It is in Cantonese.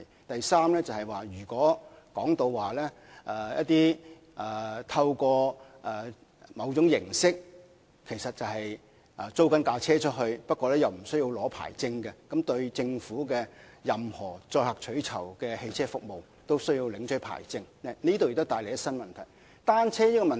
第三是如可透過某種形式租借汽車而不用領取任何牌照，那麼對於任何載客取酬的汽車服務都要領取牌照的政府政策，也會帶來新的問題。